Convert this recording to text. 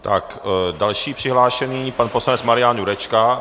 Tak, další přihlášený, pan poslanec Marian Jurečka.